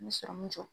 N bɛ sɔrɔmun jɔ